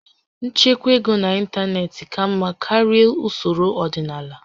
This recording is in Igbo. Nchekwa ego n'ịntanetị ka mma karịa usoro ọdịnala